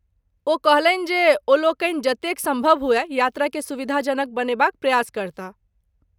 ओ कहलनि जे ओलोकनि जतेक सम्भव हुअय यात्राकेँ सुविधाजनक बनेबाक प्रयास करताह।